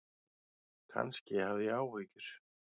Kannski hafði ég áhyggjur.